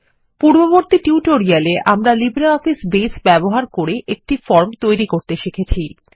পূর্ববর্তী টিউটোরিয়ালে আমরা লিব্রিঅফিস বেজ ব্যবহার করে একটি ফর্ম তৈরি করতে শিখেছি